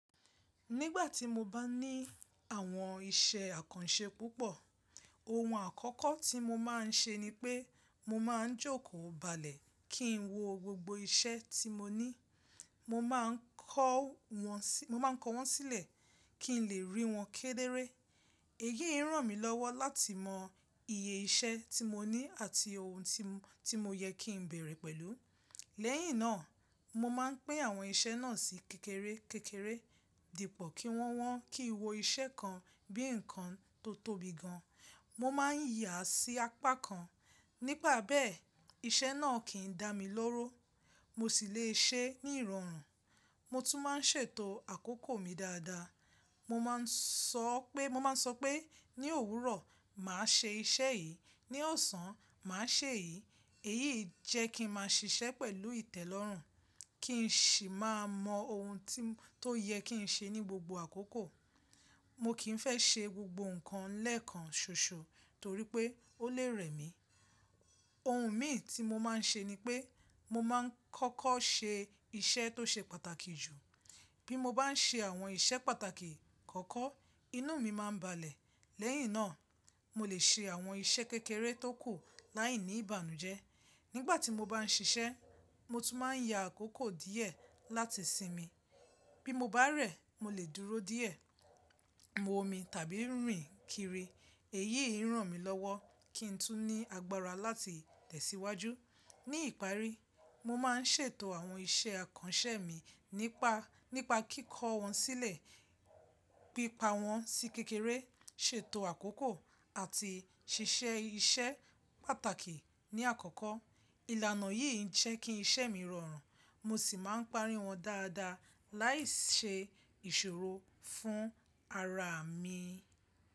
Nígbà tí mo bá ní àwọn iṣẹ́ àkànṣe púpọ̀, ohun àkọ́kọ́ tí mo máa ń ṣe ni pé mo máa ń jókòó balẹ̀ kí n wo gbogbo iṣẹ́ tí mo ní. Mo máa ń kọ wọ́n, mo máa ń kọ wọ́n sílẹ̀ kí n lè rí wọn kéderé. Èyí ràn mí lọ́wọ́ láti mọ iye iṣẹ́ tí mo ní àti ohun tí mo yẹ kí n bẹ̀rẹ̀ pẹ̀lú. Lẹ́yìn náà, mo máa ń pín àwọn iṣẹ́ náà sí kékeré kékeré dípò kí wọ́ wọ́n. Kí wo iṣẹ́ kan bí ǹkan tó tóbi gan, mo máa ń yà sí apá kan. Nígbà bẹ́ẹ̀ iṣẹ́ náà kìí dá mi lóró, mo sì le ṣe ní ìrọ̀rùn. Mo tún máa ń ṣètò àkókò mi dáadáa. Mo máa ń sọ pé, mo máa ń sọ pé ní òwúrọ̀, màá ṣe iṣẹ́ yìí, ní ọ̀sán, màá ṣe èyí. Èyií jẹ́ kí n máa ṣiṣẹ́ pẹ̀lú ìtẹ́lọ́rùn, kí n sì máa mọ ohun tó yẹ kí n ṣe ní gbogbo àkókò. Mo kìí fẹ́ ṣe gbogbo ǹkan lẹ́ẹ̀kan ṣoṣo torí pé ó lè rẹ̀ mí. Ohun mìí tí mo máa ń ṣe ni pé mo máa ń kọ́kọ́ ṣe iṣẹ́ tó ṣe pàtàkì jù. Bí mo bá ń ṣe àwọn iṣẹ́ pàtàkì kọ́kọ́, inú mi máa ń balẹ̀. Lẹ́yìn náà, mo lè ṣe àwọn iṣẹ́ kékeré tó kù láìní ìbànújẹ́. Nígbà tí mo bá ń ṣiṣẹ́, mo tún máa ń ya àkókò díẹ̀ láti sinmi. Bí mo bá rẹ̀, mo lè dúró díẹ̀, momi tàbí rìn kiri. Èyí ń ràn mí lọ́wọ́ kí n tún ní agbára láti tẹ̀síwájú. Ní ìparí, mo máa ń ṣètò àwọn iṣẹ́ àkànṣe mi nípa, nípa kíkọ́ wọn sílẹ̀, pípa wọn sí kékeré, ṣètò àkókò àti ṣíṣe iṣẹ́ pàtàkì ní àkọ́kọ́. Ìlànà yìí jẹ́ kí iṣẹ́ mi rọrùn mo sì máa ń parí wọn dáadáa láìṣe ìṣòro fún ara mi.